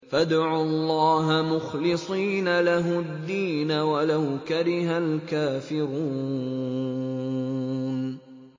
فَادْعُوا اللَّهَ مُخْلِصِينَ لَهُ الدِّينَ وَلَوْ كَرِهَ الْكَافِرُونَ